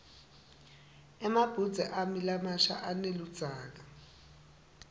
emabhudze ami lamasha aneludzaka